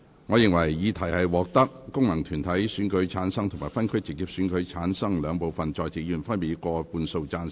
我認為議題獲得經由功能團體選舉產生及分區直接選舉產生的兩部分在席議員，分別以過半數贊成。